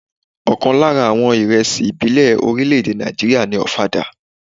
Ọ̀kan lára àwọn ìrẹsì ìbílẹ̀ orílè-èdè Ná̀ìjíríà ni ọ̀fadà.